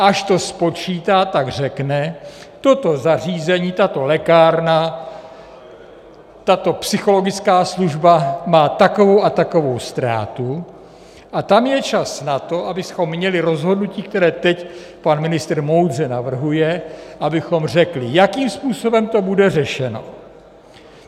Až to spočítá, tak řekne, toto zařízení, tato lékárna, tato psychologická služba má takovou a takovou ztrátu, a tam je čas na to, abychom měli rozhodnutí, které teď pan ministr moudře navrhuje, abychom řekli, jakým způsobem to bude řešeno.